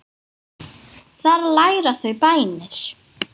Þar læra þau bænir.